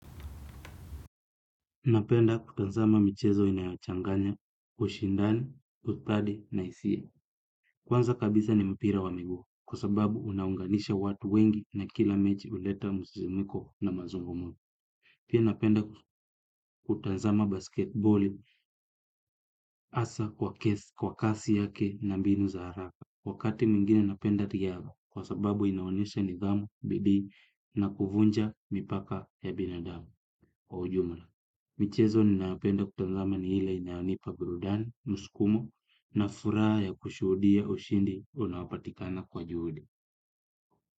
Napenda kutanzama michezo inayochanganya, ushindani, ustadi na isia. Kwanza kabisa ni mpira wa miguu kwa sababu unaunganisha watu wengi na kila mechi uleta musizimiko na mazungumuni. Pia napenda kutanzama basketboli asa kwa kasi yake na mbinu za haraka. Wakati mwingine napenda tiaga kwa sababu inaonesha nidhamu, bidii na kuvunja mipaka ya binadamu kwa ujumla. Michezo ninayopenda kutanzama ni ile inayonipa burudani, muskumo na fura ya kushudia ushindi unaopatikana kwa juhudi.